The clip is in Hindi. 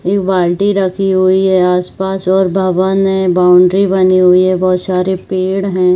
एक बाल्टी रखी हुई है आस-पास और भवन है बाउंड्री बनी हुई है बहोत सारे पेड़ है।